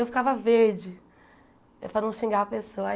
Eu ficava verde, eh para não xingar a pessoa.